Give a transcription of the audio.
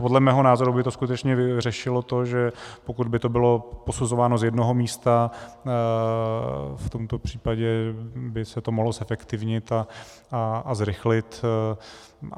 Podle mého názoru by to skutečně řešilo to, že pokud by to bylo posuzováno z jednoho místa, v tomto případě by se to mohlo zefektivnit a zrychlit.